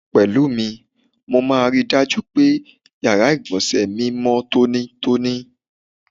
Pè̩lúmi, mo máa ri dájú pé, yàrá ìgbò̩nsè̩ mi mó̩ tónítóní.